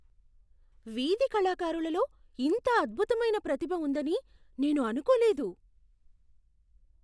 వీధి కళాకారులలో ఇంత అద్భుతమైన ప్రతిభ ఉందని నేను అనుకోలేదు .